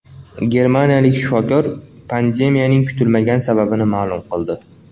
Germaniyalik shifokor pandemiyaning kutilmagan sababini ma’lum qildi.